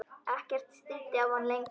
Ekkert stríddi á hann lengur.